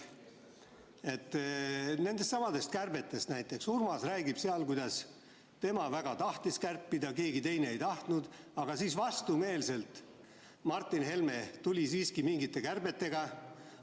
Nendesamade kärbete kohta räägib Urmas oma raamatus seda, kuidas tema väga tahtis kärpida, aga keegi teine ei tahtnud, ja Martin Helme siis vastumeelselt tuli mingite kärbetega ...